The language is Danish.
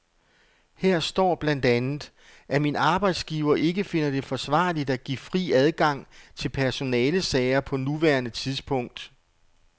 Her står blandt andet, at min arbejdsgiver ikke finder det forsvarligt at give fri adgang til personalesager på nuværende tidspunkt.